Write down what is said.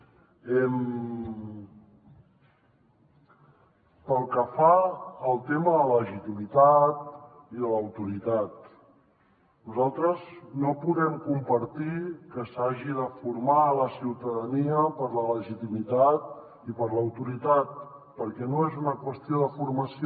pel que fa al tema de legitimitat i de l’autoritat nosaltres no podem compartir que s’hagi de formar la ciutadania per la legitimitat i per l’autoritat perquè no és una qüestió de formació